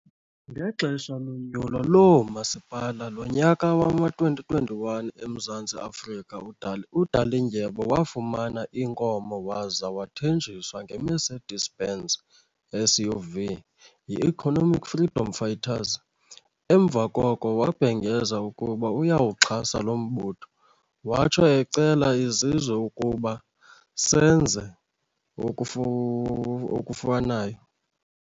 Ngexesha lonyulo loomasipala lonyaka wama2021 eMzantsi Afrika, uDalindyebo wafumana inkomo waza wathenjiswa ngeMercedes -Benz SUV yiEconomic Freedom Fighters, emva koko wabhengeza ukuba uyawuxhasa lo mbutho watsho ecela isizwe ukuba senze okufanayo.